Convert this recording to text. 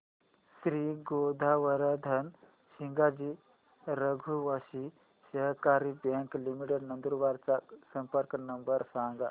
श्री गोवर्धन सिंगजी रघुवंशी सहकारी bank limited Nandurbar चा संपर्क नंबर सांगा